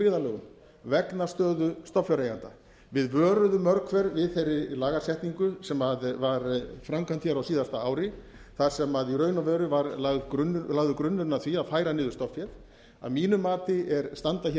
byggðarlögum vegna stöðu stofnfjáreigenda við vöruðum mörg hver við þeirri lagasetningu sem var framkvæmd hér á síðasta ári þar sem í raun og veru var lagður grunnurinn að því að færa niður stofnféð að mínu mati standa hér